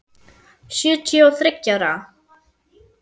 Sjötíu og þriggja ára!